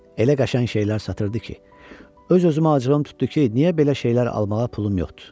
Elə qəşəng şeylər satırdı ki, öz-özümə acığım tutdu ki, niyə belə şeylər almağa pulum yoxdur.